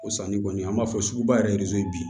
O sanni kɔni an b'a fɔ sugu ba yɛrɛ bi